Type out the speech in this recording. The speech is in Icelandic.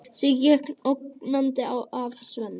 Siggi gekk ógnandi að Svenna.